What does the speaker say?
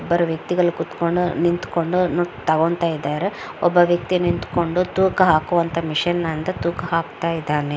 ಇಬ್ಬರು ವ್ಯಕ್ತಿಗಳು ಕೂತುಕೊಂಡು ನಿಂತುಕೊಂಡು ತಗೋಂತಾ ಇದ್ದಾರೆ ಒಬ್ಬ ವ್ಯಕ್ತಿ ನಿಂತುಕೊಂಡು ತೂಕ ಹಾಕುವ ಮಷೀನಿಂದ ತೂಕ ಹಾಕ್ತಾ ಇದ್ದಾನೆ .